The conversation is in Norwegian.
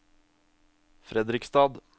Fredrikstad